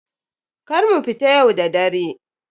Kar mu fita yau da dare.